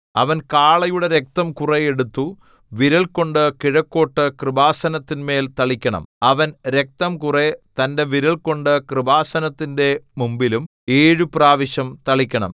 അവൻ കാളയുടെ രക്തം കുറെ എടുത്തു വിരൽകൊണ്ട് കിഴക്കോട്ടു കൃപാസനത്തിന്മേൽ തളിക്കണം അവൻ രക്തം കുറെ തന്റെ വിരൽകൊണ്ട് കൃപാസനത്തിന്റെ മുമ്പിലും ഏഴു പ്രാവശ്യം തളിക്കണം